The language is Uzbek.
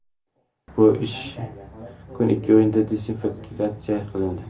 Bu ishi uchun ikki o‘yinga diskvalifikatsiya qilindi .